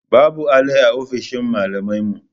Babu alli a ofishin malamai yau